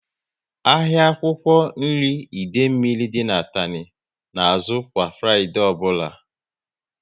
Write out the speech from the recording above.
Ahịa akwụkwọ nri Idemili dị n'Atani na azụ kwa Fraịdee ọbụla